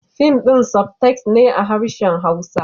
Fim din sub-text ne a harshen hausa